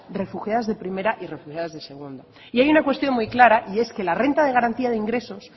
refugiados de primera y refugiados de segunda y hay una cuestión muy clara y es que la renta de garantía de ingresos